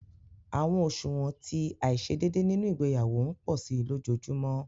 Awọn oṣuwọn ti aiṣedeede nínú ìgbéyàwó npo si lojojumọ